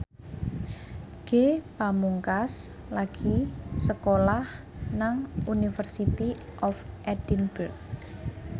Ge Pamungkas lagi sekolah nang University of Edinburgh